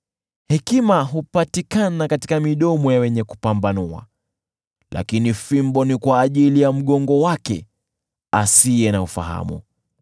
Hekima hupatikana katika midomo ya wenye kupambanua, lakini fimbo ni kwa ajili ya mgongo wake asiye na ufahamu.